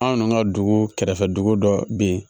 Anw ka dugu kɛrɛfɛ dugu dɔ bɛ yen